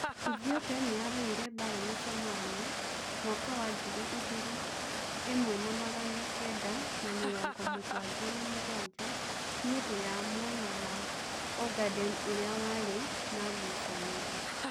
Ethiopia niyaruire mbara na Somalia mwaka wa ngirĩ ĩmwe na magana kenda na mĩrongo mũgwanja na mũgwanja niundũ ya mwena wa Ogaden ũria wari na ngucanirio.